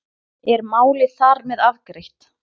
Er málið þar með afgreitt?